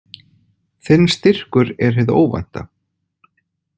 Þinn styrkur er hið óvænta.